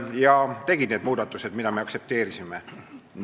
Nad tegidki need muudatused, mida me aktsepteerisime.